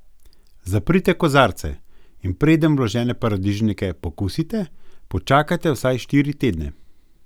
Zaprite kozarce, in preden vložene paradižnike pokusite, počakajte vsaj štiri tedne.